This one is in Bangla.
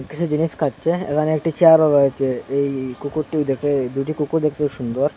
কিছু জিনিস খাচ্ছে এখানে একটি চেয়ারও রয়েছে এই কুকুরটি দেখে দুটি কুকুর দেখতে সুন্দর।